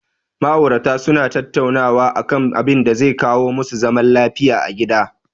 Ma'aurata su na tattaunawa a kan abinda zai kawo ma su zaman lafiya a gida